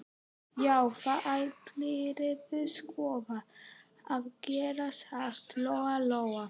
Já, það ættirðu sko að gera, sagði Lóa-Lóa.